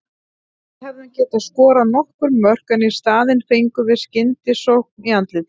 Við hefðum getað skorað nokkur mörk en í staðinn fengum við skyndisóknir í andlitið.